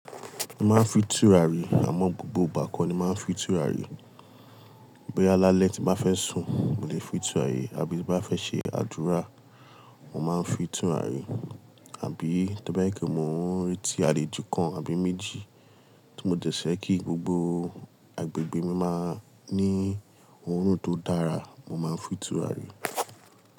Mo máa ń fi tùrà rí àmọ́ gbogbo ìgbà kọ́ ni mo máa ń fi tùrà rí. Boya lálẹ̀ tí n bá fẹ́ sùn, mo lè fin tùràrí àbí ti nbá fẹ́ ṣe àdúrà, mo máa ń fin tùrarí. Àbí tó bá jẹ pe mo n reti àlejò kan àbí méjì tí mo dẹ fẹ́ kí gbogbo agbègbè mi máa ní òórùn tó dára, mo máa ń fi tùràrí.